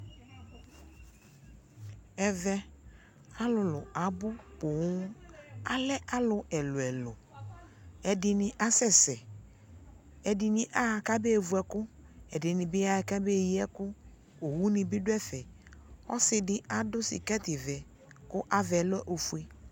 ɛvɛ alolo abo poŋ alɛ alo ɛlo ɛlo edi ni asɛsɛ edi ni aha ko abe vu ɛko edi ni bi yaha ko abe yi ɛko, owu ne bi do ɛfɛ ɔsi di ado sikɛti vɛ ko ava lɛ ofue